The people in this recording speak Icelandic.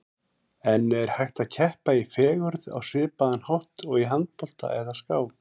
En er hægt að keppa í fegurð á svipaðan hátt og í handbolta eða skák?